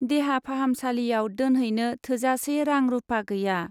देहा फाहामसालियाव दोनहैनो थोजासे रां-रुपा गैया।